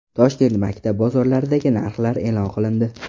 Toshkent maktab bozorlaridagi narxlar e’lon qilindi.